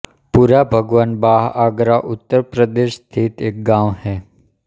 पुराभगवान बाह आगरा उत्तर प्रदेश स्थित एक गाँव है